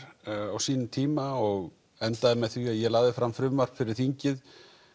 á sínum tíma og endaði með því að ég lagði fram frumvarp fyrir þingið